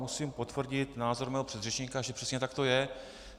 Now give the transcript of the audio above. Musím potvrdit názor svého předřečníka, že přesně tak to je.